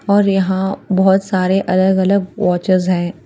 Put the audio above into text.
और यहाँ बहुत सारे अलग अलग वॉचेस है।